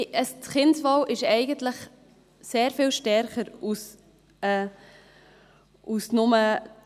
Das Kindeswohl ist eigentlich sehr viel stärker zu gewichten.